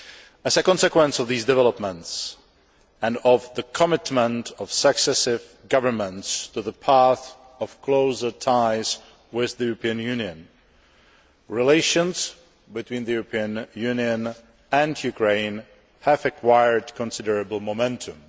As a consequence of these developments and of the commitment of successive governments to the path of closer ties with the European Union, relations between the European Union and Ukraine have acquired considerable momentum.